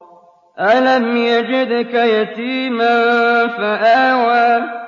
أَلَمْ يَجِدْكَ يَتِيمًا فَآوَىٰ